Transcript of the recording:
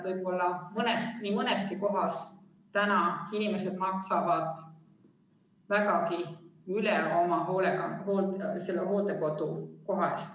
Võib-olla nii mõneski kohas maksavad inimesed vägagi üle oma hooldekodukoha eest.